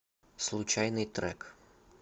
случайный трек